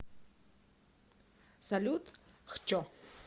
салют хчо